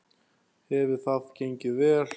Hefur það gengið vel?